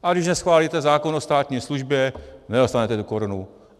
A když neschválíte zákon o státní službě, nedostanete tu korunu.